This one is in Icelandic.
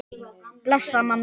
Bless, amma mín.